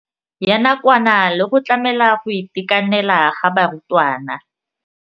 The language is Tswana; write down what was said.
Ya nakwana le go tlamela go itekanela ga barutwana.